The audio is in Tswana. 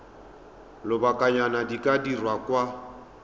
lobakanyana di ka dirwa kwa